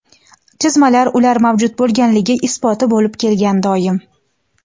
chizmalar ular mavjud bo‘lganligi isboti bo‘lib kelgan doim.